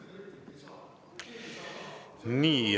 Nii.